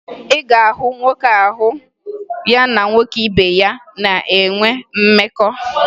Ị ga-ahụ nwoke ahụ ya na-nwoke ibe ya na-enwe mmekọ